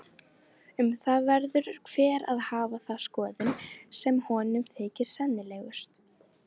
Um það verður hver að hafa þá skoðun sem honum þykir sennilegust.